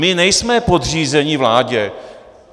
My nejsme podřízeni vládě.